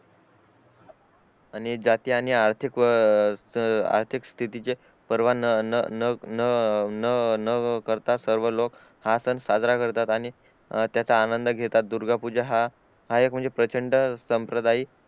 आणि जाती आणि आर्थिक स्तिथी ची पर्वा न न करता सर्व लोक हा सण साजरा करतात आणि त्याचा आनंद घेतात दुर्गा पूजा हा हा एक म्हणजे प्रचंड संप्रदायी